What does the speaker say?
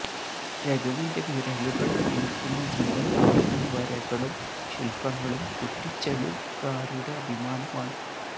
രഘുവിന്റെ വിരലുകള് തീർക്കുന്ന ജീവന് തുടിക്കുന്ന വരകളും ശില്പങ്ങളും കുറ്റിച്ചലുകാരുടെ അഭിമാനമാണ്